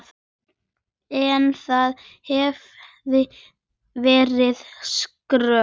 En það hefði verið skrök.